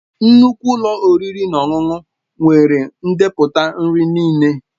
Nnukwu ụlọ oriri na ọṅụṅụ nwere ndepụta nri niile.